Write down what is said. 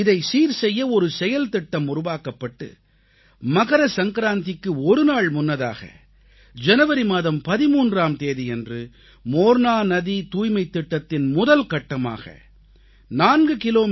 இதைச்சீர் செய்ய ஒரு செயல்திட்டம் உருவாக்கப்பட்டு மகர சங்கராந்திக்கு ஒரு நாள் முன்னதாக ஜனவரி மாதம் 13ஆம் தேதியன்று மோர்னா நதி தூய்மைத் திட்டத்தின் முதல் கட்டமாக 4 கி